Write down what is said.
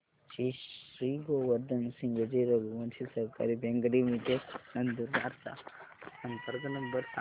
श्री गोवर्धन सिंगजी रघुवंशी सहकारी bank limited Nandurbar चा संपर्क नंबर सांगा